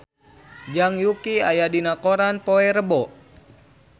Zhang Yuqi aya dina koran poe Rebo